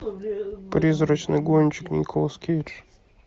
призрачный гонщик николас кейдж